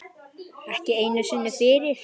Ekki einu sinni fyrir